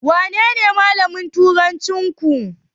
Wanene malamin turancinku?